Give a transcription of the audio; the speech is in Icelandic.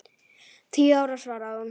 Tíu ára, svaraði hún.